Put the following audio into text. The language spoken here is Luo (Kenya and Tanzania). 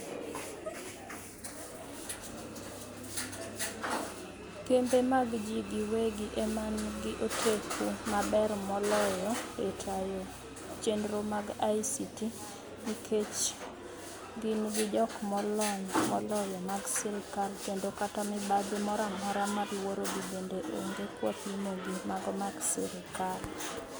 Kembe magji giwegi emngi oteku maber moloyo etayo chenro mag ICT nikech gin gi jok molony moloyo mag sirikal kendo kata mibadhi moro amora maluorogi bende onge kwapimogi mago mag sirikal.